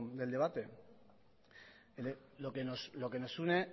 del debate lo que nos une